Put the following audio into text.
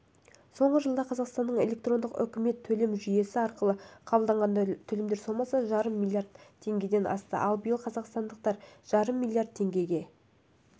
соңғы жылда қазақстанның электрондық үкімет төлем жүйесі арқылы қабылданған төлемдер сомасы жарым миллиард теңгеден асты ал биыл қазақстандықтар жарым миллиард теңгеге